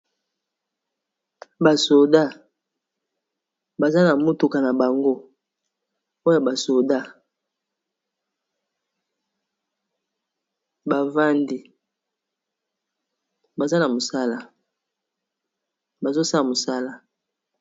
Ba soda baza na motuka na bango oyo ba soda bavandi baza na mosala bazo sala mosala.